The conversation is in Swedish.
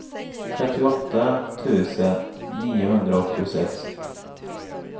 trettioåtta tusen niohundraåttiosex